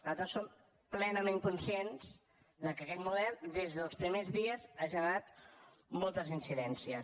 nosaltres som plenament conscients que aquest model des dels primers dies ha generat moltes incidències